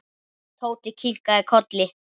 Tóti kinkaði kolli.